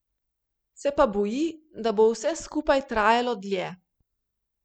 Se pa boji, da bo vse skupaj trajalo dlje.